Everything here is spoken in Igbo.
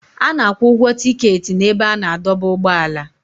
A na-akwụ ụgwọ tiketi n'ebe a na-adọba ụgbọala.